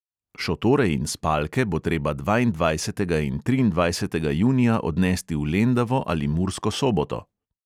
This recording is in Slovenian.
Šotore in spalke bo treba dvaindvajsetega in triindvajsetega junija odnesti v lendavo ali mursko soboto.